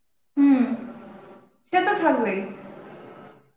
হম সে তো থাকবেই